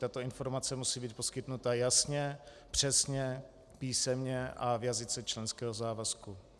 Tato informace musí být poskytnuta jasně, přesně, písemně a v jazyce členského závazku.